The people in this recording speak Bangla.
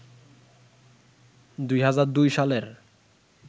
২০০২ সালের